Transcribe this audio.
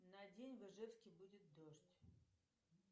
на день в ижевске будет дождь